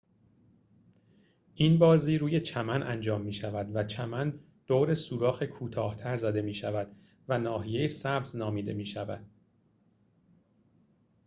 این بازی روی چمن انجام می‌شود و چمن دور سوراخ کوتاه‌تر زده می‌شود و ناحیه سبز نامیده می‌شود